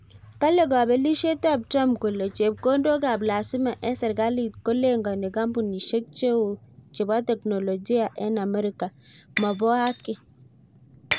Kale Kapelishiet ap trump kole chepkondok ap lazima eng serikalit kolengani kampunishek cheo chebo teknolojia eng amerika maboo haki.